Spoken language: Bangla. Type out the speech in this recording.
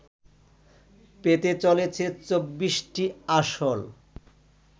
পেতে চলেছে ২৪টি আসন